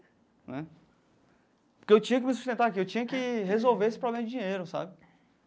Né porque eu tinha que me sustentar aqui, eu tinha que resolver esse problema de dinheiro, sabe?